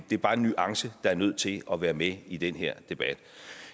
det er bare en nuance der er nødt til at være med i den her debat